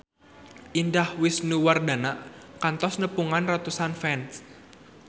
Indah Wisnuwardana kantos nepungan ratusan fans